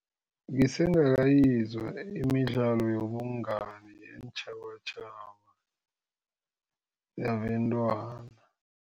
Ngisengakayizwa imidlalo yobungani yeentjhabatjhaba yabentwana.